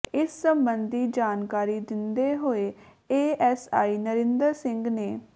ਇਸ ਸਬੰਧੀ ਜਾਣਕਾਰੀ ਦਿੰਦੇ ਹੋਏ A S I Narinder Singh ਨੇ